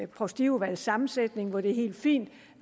provstiudvalgets sammensætning hvor det er helt fint